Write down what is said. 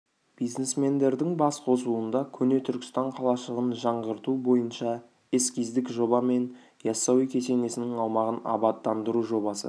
бизнесмендердің бас қосуында көне түркістан қалашығын жаңғырту бойынша эскиздік жоба мен яссауи кесенесінің аумағын абаттандыру жобасы